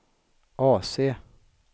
AC